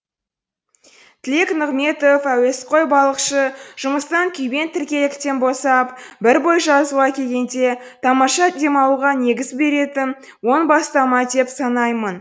тілек нығметов әуесқой балықшы жұмыстан күйбең тіркеліктен босап бір бой жазуға келгенде тамаша демалуға негіз беретін оң бастама деп санаймын